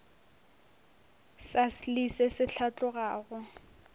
sa selee se se hlatlogago